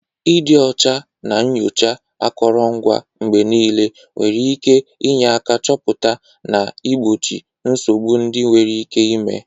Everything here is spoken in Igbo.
Ịdị ọcha na nyochaa akụrụngwa mgbe niile nwere ike inye aka chọpụta na igbochi nsogbu ndị nwere ike ime.